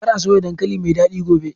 Kar a soya dankali mai dadi gobe!